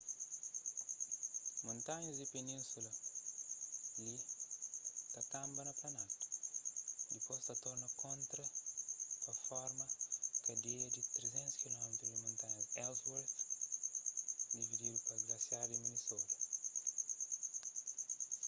montanhas di península li ta kanba na planaltu dipôs ta torna kontra pa forma kadeia di 360 km di montanhas ellsworth divididu pa glasiar di minnesota